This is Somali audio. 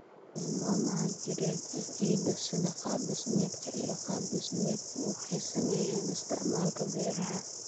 Tilmaamaha jireed ee ciidda, sida qaab-dhismeedka iyo qaab-dhismeedka, waxay saameeyaan isticmaalka beeraha.